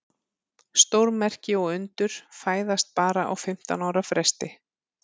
Stórmerki og undur fæðast bara á fimmtán ára fresti.